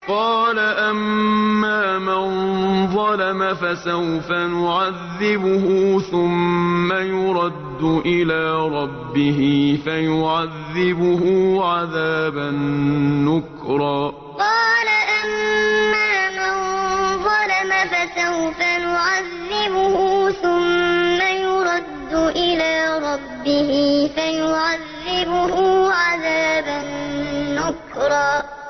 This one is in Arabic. قَالَ أَمَّا مَن ظَلَمَ فَسَوْفَ نُعَذِّبُهُ ثُمَّ يُرَدُّ إِلَىٰ رَبِّهِ فَيُعَذِّبُهُ عَذَابًا نُّكْرًا قَالَ أَمَّا مَن ظَلَمَ فَسَوْفَ نُعَذِّبُهُ ثُمَّ يُرَدُّ إِلَىٰ رَبِّهِ فَيُعَذِّبُهُ عَذَابًا نُّكْرًا